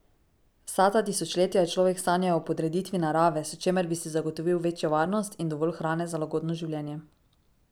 Vsa ta tisočletja je človek sanjal o podreditvi narave, s čimer bi si zagotovil večjo varnost in dovolj hrane za lagodno življenje.